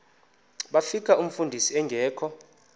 bafika umfundisi engekho